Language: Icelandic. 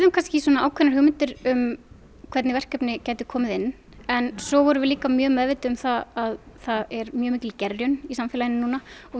ákveðnar hugmyndir um hvernig verkefni gætu komið inn en svo vorum við líka meðvituð um að það er mjög mikil gerjun í samfélaginu og við